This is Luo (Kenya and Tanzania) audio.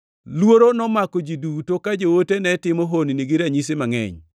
Luoro nomako ji duto ka joote ne timo honni gi ranyisi mangʼeny.